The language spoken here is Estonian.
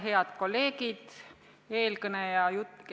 Head kolleegid!